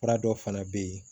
Fura dɔ fana bɛ yen